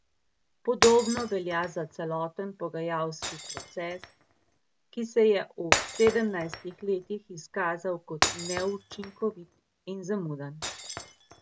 Podobno velja za celoten pogajalski proces, ki se je v sedemnajstih letih izkazal kot neučinkovit in zamuden.